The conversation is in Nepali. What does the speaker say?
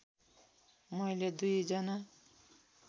मैले दुई जना